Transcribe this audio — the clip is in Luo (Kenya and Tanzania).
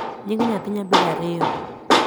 nying nyathi nyabedo ario